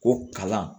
Ko kalan